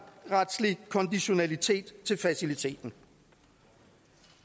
konditionalitet til faciliteten